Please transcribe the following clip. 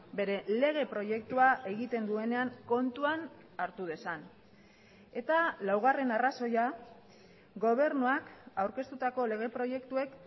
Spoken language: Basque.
bere lege proiektua egiten duenean kontuan hartu dezan eta laugarren arrazoia gobernuak aurkeztutako lege proiektuek